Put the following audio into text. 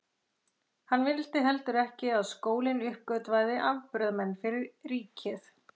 Hann vildi heldur ekki að skólinn uppgötvaði afburðamenn fyrir ríkið.